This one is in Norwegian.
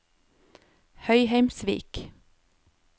Høyheimsvik